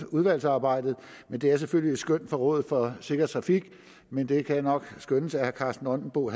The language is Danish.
udvalgsarbejdet det er selvfølgelig et skøn fra rådet for sikker trafik men det kan nok skønnes at herre karsten nonbo